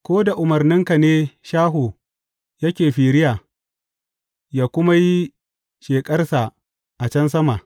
Ko da umarninka ne shaho yake firiya ya kuma yi sheƙarsa a can sama?